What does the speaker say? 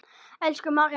Elsku María mín.